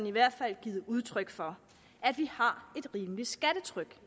i hvert fald givet udtryk for at vi har et rimeligt skattetryk